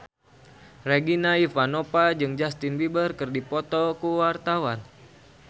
Regina Ivanova jeung Justin Beiber keur dipoto ku wartawan